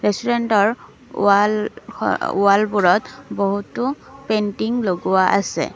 ৰেষ্টোৰেন্টৰ wall ৱালবোৰত বহুতো painting লগোৱা আছে।